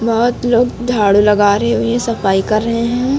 बहोत लोग झाड़ू लगा रहे हुए सफाई कर रहे है।